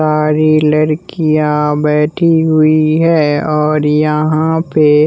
सारी लरकियां बैठी हुई हैं और यहाँ पे--